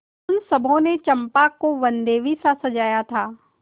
उन सबों ने चंपा को वनदेवीसा सजाया था